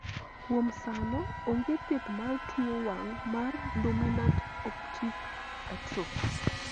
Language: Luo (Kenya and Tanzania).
kuom sano, onge thieth mar tuo wang' mar dominant optic atrophy